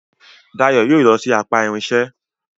Dayo yóò ló sì apá irinṣẹ́